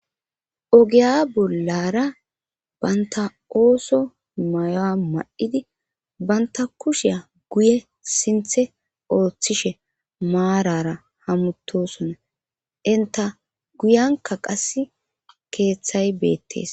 Ogiya bollara banta oso mayuwa mayidi banta kushiya guye sinthe othishe marara hamutisona guyanka qase kethay betes